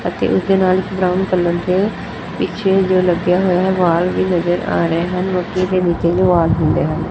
ਅਤੇ ਓਹਦੇ ਨਾਲ ਬਰਾਊਨ ਕੇ ਪਿੱਛੇ ਵੀ ਦੋ ਲੱਗਿਆ ਹੋਇਆ ਹੈ ਬਾਲ ਵੀ ਨਜ਼ਰ ਆ ਰਹੇ ਹਨ ਗੱਦੀ ਦੇ ਨੀਚੇ ਵੀ ਬਾਲ ਹੁੰਦੇ ਹਨ।